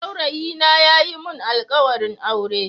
Saurayina ya yi mun alkawarin aure.